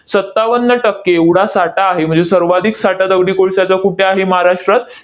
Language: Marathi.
सत्तावन्न टक्के एवढा साठा आहे. म्हणजे सर्वाधिक साठा दगडी कोळशाचा कुठे आहे महाराष्ट्रात?